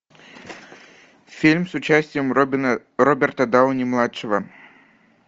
фильм с участием роберта дауни младшего